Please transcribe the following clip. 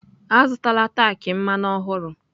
Azụtala tank mmanụ ọhụrụ!